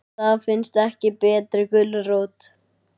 Það finnst ekki betri gulrót.